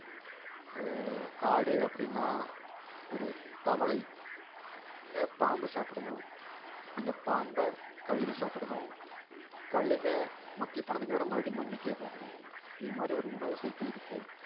ஒரு காடு அப்படின்னா ஒரு தவளை அஹ் பாம்பு சாப்பிடணும் அந்த பாம்பை கழுகு சாப்பிடணும் கழுகை மக்கிப் போனதுக்கு அப்புறம் மறுபடியும் மண்ணுக்கே போகும் இது மாதிரி ஒரு உணவு cycle இருக்கு